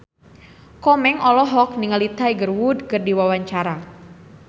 Komeng olohok ningali Tiger Wood keur diwawancara